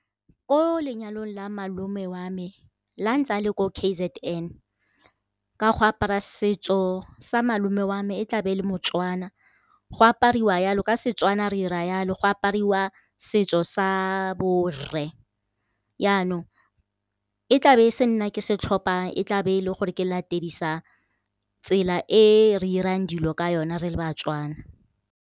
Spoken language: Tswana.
Ko lenyalong la malome wa me la ntse a le ko K_Z_N, ka go apara setso sa malome wa me e tlabe e le moTswana. Go apariwa yalo, ka Setswana re 'ira yalo go apariwa setso sa bo rre. Yaanong e tlabe e se nna ke setlhophang, e tlabe e le gore ke latedisa tsela e re irang dilo ka yona re le baTswana.